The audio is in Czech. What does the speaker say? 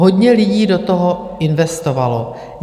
Hodně lidí do toho investovalo.